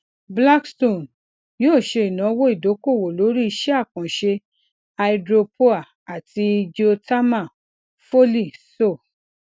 cs] blackstone yoo se inawo idokowo lori ise akanse [ hydropoer ati geothermal foley [ccs] so